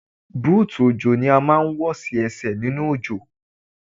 Búùtù òjò ni a máa ń wọ̀ sí Ẹsẹ̀ nínú òjò.